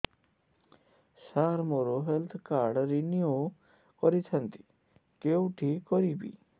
ସାର ମୋର health card renew କରିଥାନ୍ତି କେଉଁଠି କରିବି